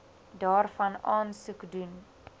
daarvan aansoek doen